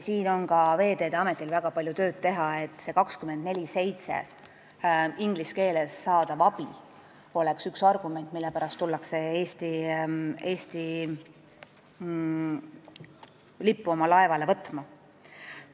Siin on ka Veeteede Ametil vaja väga palju tööd teha, et see inglise keeles 24/7 saadav abi oleks üks argument, mille pärast tullakse oma laevale Eesti lippu võtma.